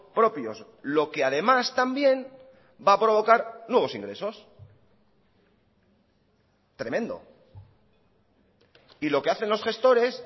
propios lo que además también va a provocar nuevos ingresos tremendo y lo que hacen los gestores